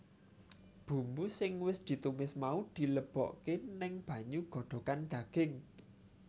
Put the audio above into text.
Bumbu sing wis ditumis mau dileboke neng banyu godhogan daging